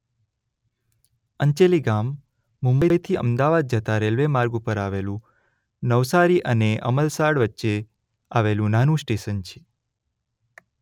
અંચેલી ગામ મુંબઇથી અમદાવાદ જતા રેલ્વે માર્ગ ઉપર આવેલું નવસારી અને અમલસાડ વચ્ચે આવેલું નાનું સ્ટેશન છે.